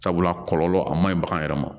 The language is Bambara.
Sabula kɔlɔlɔ a man ɲi bagan yɛrɛ ma